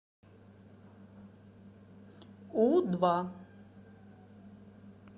у два